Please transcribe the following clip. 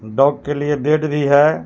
Dog के लिए हे.